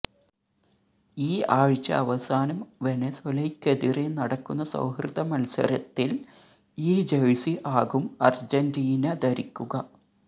ഈ ആഴ്ച അവസാനം വെനസ്വേലയ്ക്കെതിരെ നടക്കുന്ന സൌഹൃദ മത്സരത്തില് ഈ ജേഴ്സി ആകും അര്ജന്റീന ധരിക്കുക